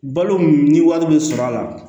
Balo ni wari bɛ sɔrɔ a la